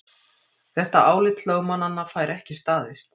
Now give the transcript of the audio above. Þetta álit lögmannanna fær ekki staðist